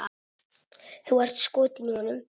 Þú ert skotin í honum!